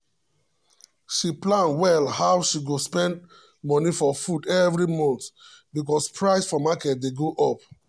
she plan well how she go spend money for food every month because price for market dey go up.